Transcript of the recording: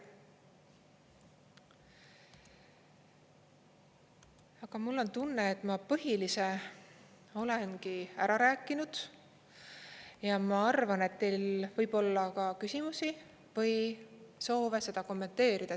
Aga mul on tunne, et ma põhilise olengi ära rääkinud, ja ma arvan, et teil võib olla ka küsimusi või soove seda kommenteerida.